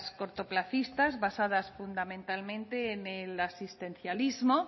cortoplacistas basadas fundamentalmente en el asistencialismo